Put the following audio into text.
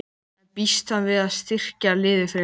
En býst hann við að styrkja liðið frekar?